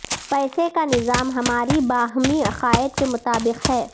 پیسے کا نظام ہماری باہمی عقائد کے مطابق ہے